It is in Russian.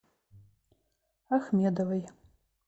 ахмедовой